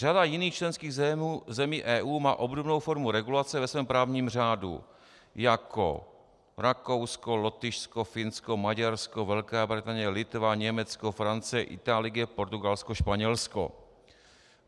Řada jiných členských zemí EU má obdobnou formu regulace ve svém právním řádu, jako Rakousko, Lotyšsko, Finsko, Maďarsko, Velká Británie, Litva, Německo, Francie, Itálie, Portugalsko, Španělsko.